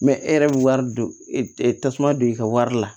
e yɛrɛ bɛ wari don e tasuma don i ka wari la